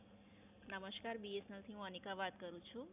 નમસ્કાર, B S N L થી હું અનિકા વાત કરું છું.